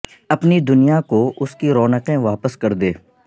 اپنی دنیا کو اس کی رونقیں واپس کر دے